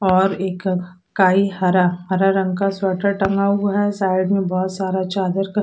और एक काई हरा हरा रंग का स्वेटर टंगा हुआ है साइड में बहोत सारा चादर--